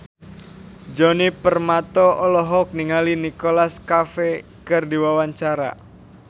Djoni Permato olohok ningali Nicholas Cafe keur diwawancara